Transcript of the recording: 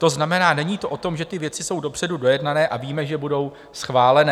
To znamená, není to o tom, že ty věci jsou dopředu dojednané a víme, že budou schválené.